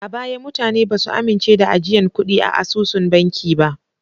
A baya mutane ba su amince da ajiyan kuɗi a asusun banki ba.